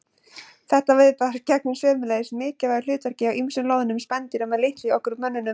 Þetta viðbragð gegnir sömuleiðis mikilvægu hlutverki hjá ýmsum loðnum spendýrum en litlu hjá okkur mönnunum.